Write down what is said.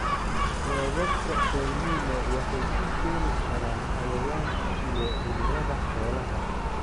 Roobabka El Niño waxay u keeni karaan cayayaanka iyo cudurrada xoolaha.